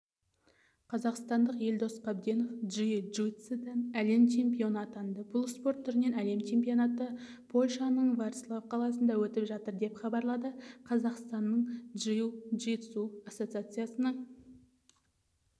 қазақстандық елдос қабденов джиу-джитсудан әлем чемпионы атанды бұл спорт түрінен әлем чемпионаты польшаның ворцлав қаласында өтіп жатыр деп хабарлады қазақстанның джиу-джитсу ассоциациясының